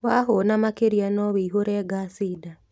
Wahũna makĩria no wũihũre ngaci nda